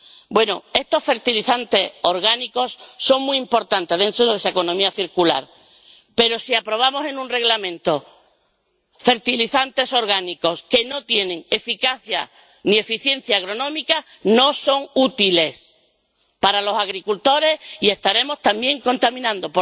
Bueno, estos fertilizantes orgánicos son muy importante dentro de la economía circular, pero si aprobamos en un Reglamento fertilizantes orgánicos que no tienen eficacia ni eficiencia agronómica, no son útiles para los agricultores y estaremos también contaminando.